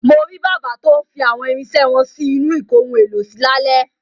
Mo rí bàbá tó ń fi àwọn irinṣẹ́ wọn sí inú ìkóhun-èlò-sí lálẹ́.